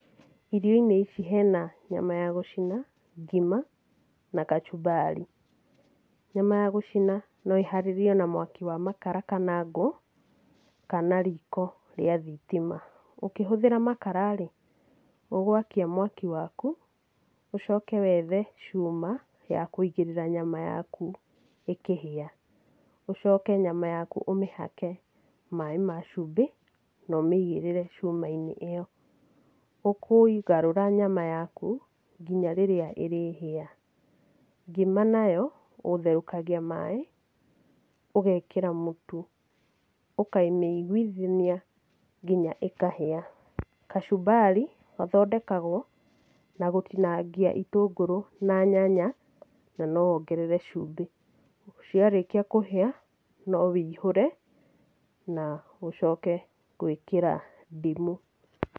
Irio-inĩ ici hena nyama ya gũcinwo, ngima na kachumbari. Nyama ya gũcina no ĩharĩrĩirio na mwaki wa makara kana ngũ, kana riko rĩa thitima. Ukĩhũthĩra makararĩ, ũgwakia mwaki waku, ũcoke wethe cuma ya kuigĩrĩra nyama yaku ĩkĩhia. Ũcoke nyama yaku ũmĩhake maaĩ ma cumbĩ nomĩigĩrĩre cuma inĩ ĩyo. Ukũgarũra nyama yaku nginya rĩrĩa ĩrĩhĩa. Ngima nayo, ũtherũkagia maaĩ, ũgekĩra mũtu, ũkamĩiguithania nginya ĩkahĩa. Kachumbari, gathondekagwo na gũtinangia itũngũrũ na nyanya na nowongerere cumbĩ. Ciarĩkia kũhĩa no wĩihũre na ũcoke gwĩkĩra ndimũ.